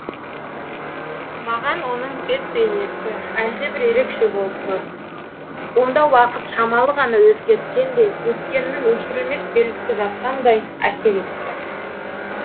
маған оның бет бейнесі әлдебір ерекше болып көрінді онда уақыт шамалы ғана өзгерткендей өткеннің өшірілмес белгісі жатқандай әсер етті